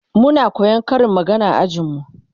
Muna koyan Karin magana a ajin mu